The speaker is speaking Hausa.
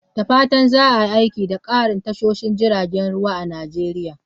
Da fatan za a yi aiki da ƙarin tashoshin jiragen ruwa a Najeriya.